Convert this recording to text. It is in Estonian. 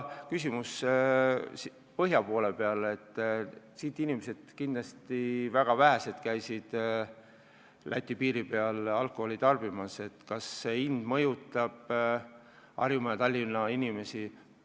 Põhja-Eestist on kindlasti palju vähem inimesi käinud Lätis alkoholi ostmas ja kas uus hind mõjutab Tallinna ja muu Harjumaa inimesi, ei tea.